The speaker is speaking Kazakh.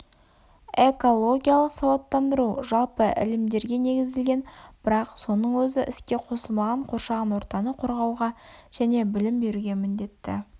экологиялық сауаттандыру жалпы ілімдерге негізделген бірақ соның өзі іске қосылмаған қоршаған ортаны қорғауға және білім беруге міндетті